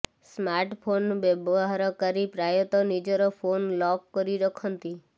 smartphone ବ୍ୟହାରକାରୀ ପ୍ରାୟତଃ ନିଜର ଫୋନ୍ ଲକ୍ କରି ରଖନ୍ତି